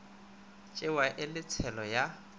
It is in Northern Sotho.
tšewa e le tshelo ya